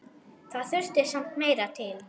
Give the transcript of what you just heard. Það þurfti samt meira til.